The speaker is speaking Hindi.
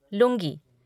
लुंगी